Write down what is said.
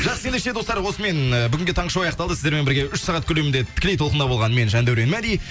жақсы ендеше достар осымен ы бүгінге таңғы шоу аяқталды сіздермен бірге үш сағат көлемінде тікелей толқында болған мен жандәурен мәди